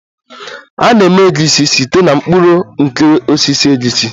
A na-eme Egusi site na mkpụrụ nke osisi egusi